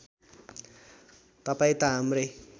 तपाईँ त हाम्रै